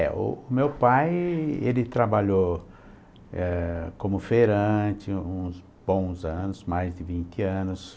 É. O meu pai, ele trabalhou eh, como feirante uns bons anos, mais de vinte anos.